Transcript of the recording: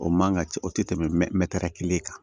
O man kan ka ci o tɛ tɛmɛ kelen kan